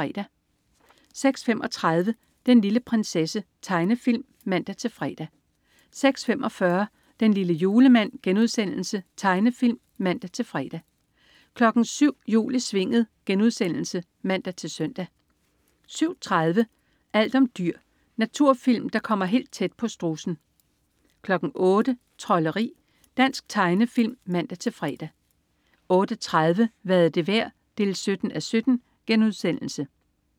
06.35 Den lille prinsesse. Tegnefilm (man-fre) 06.45 Den lille julemand.* Tegnefilm (man-fre) 07.00 Jul i Svinget* (man-søn) 07.30 Alt om dyr. Naturfilm, der kommer helt tæt på strudsen 08.00 Trolderi. Dansk tegnefilm (man-fre) 08.30 Hvad er det værd? 17:17*